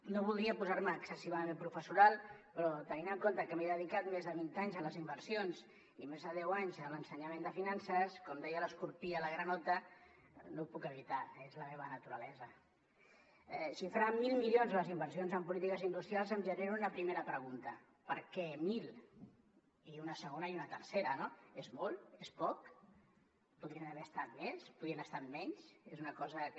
no voldria posar me excessivament professoral però tenint en compte que m’he dedicat més de vint anys a les inversions i més de deu anys a l’ensenyament de finances com deia l’escorpí a la granota no ho puc evitar és la meva naturalesa xifrar en mil milions les inversions en polítiques industrials em genera una primera pregunta per què mil i una segona i una tercera no és molt és poc podrien haver estat més podrien haver estat menys és una cosa que